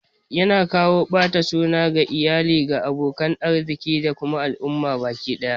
Yana kawo ɓata suna ga iyali, ga abokan arziki da kuma al'umma baki ɗaya